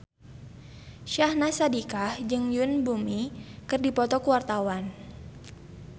Syahnaz Sadiqah jeung Yoon Bomi keur dipoto ku wartawan